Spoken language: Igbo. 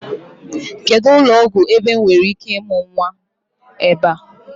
Kedụ ụlọọgwụ ebe m nwereike ịmụ nnwa ebe a?